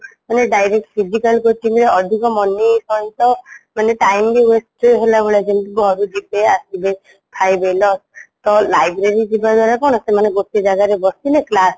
ସେମାନେ direct physical coaching ର ଅଧିକ money ସହିତ ମାନେ time wait ହେଲାଭଳିଆ ଯେମିତି ଘରୁ ଯିବେ ଆସିବେ ଖାଇବେ ତ library ଯିବାଦ୍ୱାରା କ'ଣ ସେମାନେ ଗୋଟେ ଜାଗାରେ ବସିଲେ class